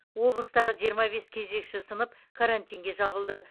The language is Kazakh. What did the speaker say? облыстағы жиырма бес кезекші сынып карантинге жабылды